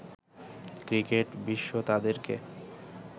cricket বিশ্ব তাদেরকে